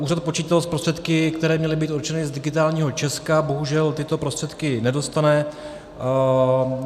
Úřad počítal s prostředky, které měly být určeny z Digitálního Česka, bohužel tyto prostředky nedostane.